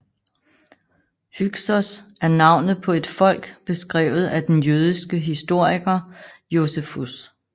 Hyksos er navnet på et folk beskrevet af den jødiske historiker Josefus